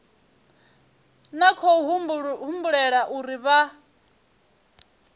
na khou humbulela uri vha